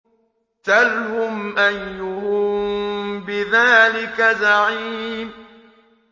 سَلْهُمْ أَيُّهُم بِذَٰلِكَ زَعِيمٌ